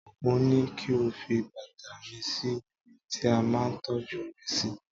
mo ní kí o fi bàtà mı sí ibi tí a ma ń tọ́jú rẹ si